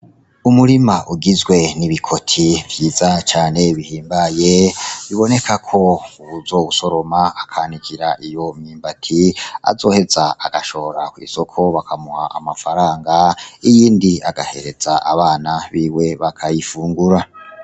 Umurima ugizwe n'ibikoti vyiza cane bihimbaye, biboneka ko uwuzowusoroma akanikira iyo myimbati azoheza agashora kw'isoko bakamuha amafaranga, iyindi agahereza abana biwe bakayifungura.